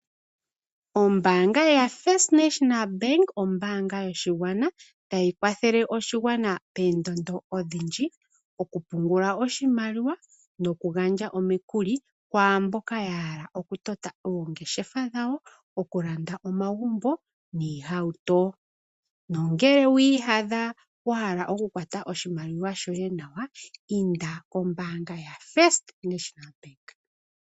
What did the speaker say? Ombaanga yaFirst National Bank ombaanga yoshigwana, tayi kwathele oshigwana poondondo odhindji okupungula oshimaliwa nokugandja omikuli kwaamboka yahala okutota oongeshefa dhawo, okulanda omagumbo niihauto. Ngele wi iyadha wa hala okukwata oshimaliwa shoye nawa, inda kombaanga yaFirst National bank.